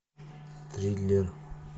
триллер